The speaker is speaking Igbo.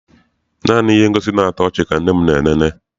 Naanị ihe ngosi na-atọ ọchị ka nne m na elele.